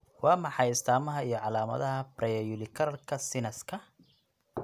Waa maxay astamaha iyo calaamadaha Preauricularka sinuska?